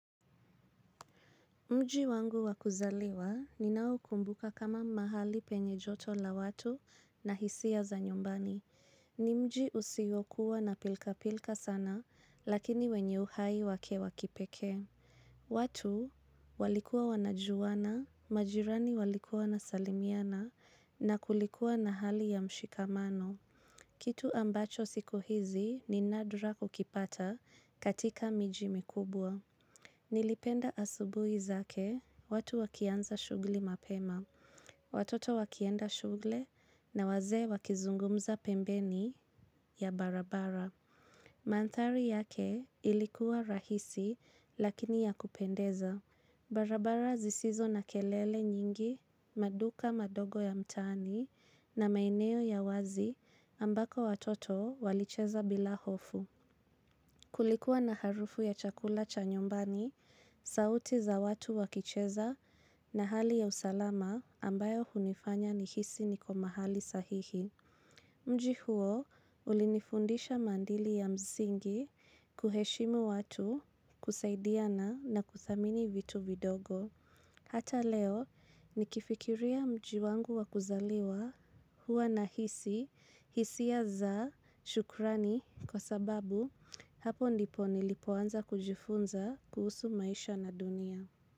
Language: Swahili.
Mji wangu wa kuzaliwa ninaokumbuka kama mahali penye joto la watu na hisia za nyumbani. Ni mji usiyokuwa na pilkapilka sana lakini wenye uhai wake wa kipekee. Watu walikuwa wanajuana, majirani walikuwa wanasalimiana na kulikuwa na hali ya mshikamano. Kitu ambacho siku hizi ni nadra kukipata katika miji mikubwa. Nilipenda asubuhi zake watu wakianza shughuli mapema. Watoto wakienda shule na wazee wakizungumza pembeni ya barabara. Mandhari yake ilikuwa rahisi lakini ya kupendeza. Barabara zisizo na kelele nyingi, maduka madogo ya mtaani na maeneo ya wazi ambako watoto walicheza bila hofu. Kulikuwa na harufu ya chakula cha nyumbani, sauti za watu wakicheza na hali ya usalama ambayo hunifanya nihisi niko mahali sahihi. Mji huo, ulinifundisha maadili ya msingi, kuheshimu watu, kusaidiana na kuthamini vitu vidogo. Hata leo nikifikiria mji wangu wakuzaliwa huwa nahisi, hisia za shukrani kwa sababu hapo ndipo nilipoanza kujifunza kuhusu maisha na dunia.